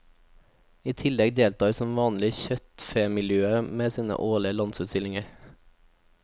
I tillegg deltar som vanlig kjøttfemiljøet med sin årlige landsutstilling.